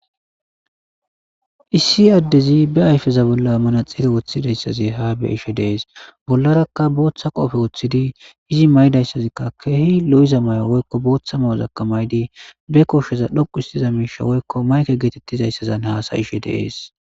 Issi adezzi be ayifezza bolla manixxiree woththizayisazzi haa be'ishshe de'ees .bollarakka boththa qoppe woththidi izzi mayidayissazzi kehi lo'iza mayo woyikko boththa mayozzakka mayidd be koshshezza dhoqqu histiza mishsha woyikko mayikke getettizayissanni hasayishshe de'ees